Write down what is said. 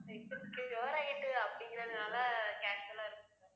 cure ஆயிட்டு அப்படிங்கிறதுனால casual இருந்~